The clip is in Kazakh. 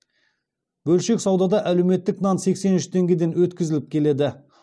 бөлшек саудада әлеуметтік нан сексен үш теңгеден өткізіліп келеді